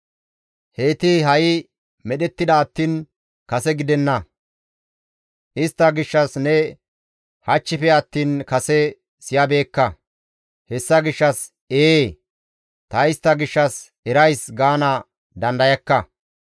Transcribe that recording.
Heyti ha7i medhettida attiin kase gidenna; istta gishshas ne hachchife attiin kase siyabeekka; hessa gishshas, ‹Ee, ta istta gishshas erays› gaana dandayakka.